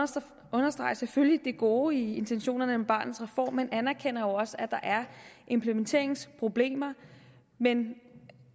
understreger selvfølgelig det gode i intentionerne i barnets reform men anerkender jo også at der er implementeringsproblemer men den